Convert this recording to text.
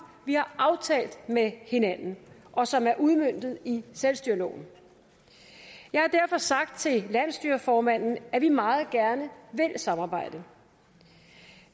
vi har aftalt med hinanden og som er udmøntet i selvstyreloven jeg har derfor sagt til landsstyreformanden at vi meget gerne vil samarbejde